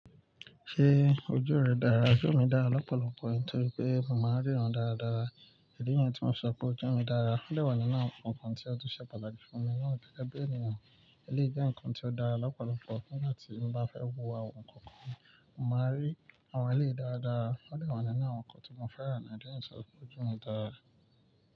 Ṣé ojú rẹ dára? Ojú mi dára lọ́pọ̀lọpọ̀ nítorí pé mò máa ń ríran dáradára. Èdí yẹn tí mò ń sọ pé ojú mi dára. Ó dewa ní inú àwọn kan kàn tí ó tún ṣe pàtàkì fún mi náà gẹ́gẹ́ bì ènìyàn. Eléyìí jẹ́ nǹkan tí ó dára lọ́pọ̀lọpọ̀ nígbà tí mo bá fẹ́ wo àwọn nǹkan kan, mò máa rí àwọn eléyìí dáradára. Ó dewa nínú àwọn ǹkàn tí mo fẹ́ràn náà. Di eyín tí sọ pé ojú mi dára.